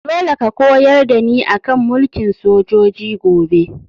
Dole ka koyar da ni a kan mulkin sojoji gobe!